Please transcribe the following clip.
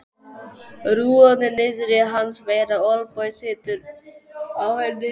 Rúðan er niðri hans megin og olnboginn situr á henni.